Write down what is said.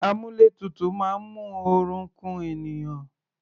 Àmúlétutù máa ń mú oorun ku ènìyàn.